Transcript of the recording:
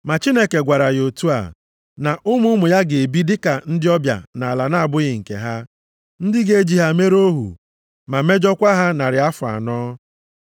Ma Chineke gwara ya otu a, na, ‘Ụmụ ụmụ ya ga-ebi dịka ndị ọbịa nʼala na-abụghị nke ha, ndị ga-eji ha mere ohu, ma mejọọkwa ha narị afọ anọ.